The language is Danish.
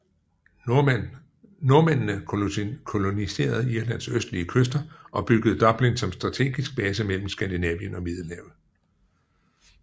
Nordmændene koloniserede Irlands østlige kyster og byggede Dublin som strategisk base mellem Skandinavien og Middelhavet